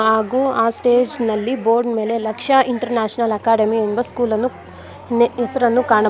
ಹಾಗು ಆ ಸ್ಟೇಜ್ ನಲ್ಲಿ ಬೋರ್ಡ್ ನಲ್ಲಿ ಲಕ್ಷ್ಯ ಇಂಟರ್ನ್ಯಾಷನಲ್ ಅಕ್ಸ್ಡೆಮಿ ಎಂದು ಸ್ಕೂಲ್ ಅನ್ನು ಹೆಸರನ್ನು ಕಾಣ --